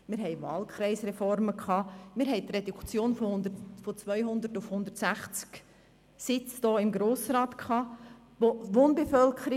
Wir hatten Wahlkreisreformen und eine Reduktion der Sitze im Grossen Rat von 200 auf 160.